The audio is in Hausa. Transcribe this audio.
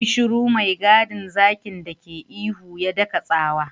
Yi shiru! mai gadin zakin dake ihu, ya daka tsawa.